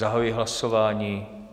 Zahajuji hlasování.